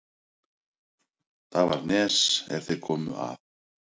Þar var nes er þeir komu að.